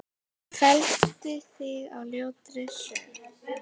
Felldi þig á ljótri sögu.